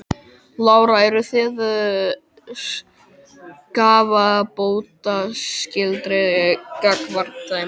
Lára: Eru þið skaðabótaskyldir gagnvart þeim?